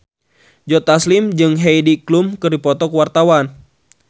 Joe Taslim jeung Heidi Klum keur dipoto ku wartawan